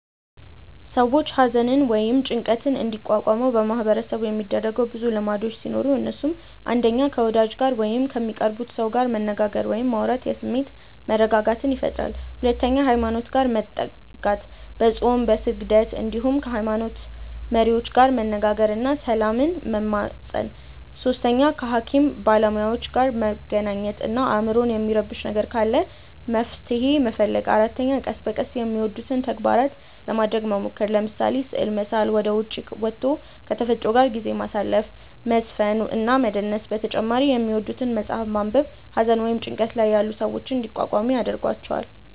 ሰዎች ሃዘንን ወይም ጭንቀትን እንዲቋቋሙ በማህበረሰቡ የሚደረጉ ብዙ ልምዶቹ ሲኖሩ እነሱም፣ 1. ከ ወዳጅ ጋር ወይም ከሚቀርቡት ሰው ጋር መነጋገር ወይም ማውራት የስሜት መረጋጋትን ይፈጥራል 2. ሃይማኖት ጋር መጠጋት፦ በፆም፣ በስግደት እንዲሁም ከ ሃይሞኖት መሪዎች ጋር መነጋገር እና ሰላምን መማፀን 3. ከ ሃኪም ባለሞያዎች ጋር መገናኘት እና አይምሮን የሚረብሽ ነገር ካለ መፍትሔ መፈለግ 4. ቀስ በቀስ የሚወዱትን ተግባራት ለማረግ መሞከር፤ ለምሳሌ፦ ስዕል መሳል፣ ወደ ዉጪ ወቶ ከ ተፈጥሮ ጋር ጊዜ ማሳለፍ፣ መዝፈን እና መደነስ በተጨማሪ የሚወዱትን መፅሐፍ ማንበብ ሃዘን ወይም ጭንቀት ላይ ያሉ ሰዎችን እንዲቋቋሙ ይረዷቸዋል።